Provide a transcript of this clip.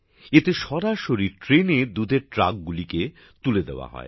এতে সরাসরি ট্রেনে দুধের ট্রাকগুলিকে তুলে দেওয়া হয়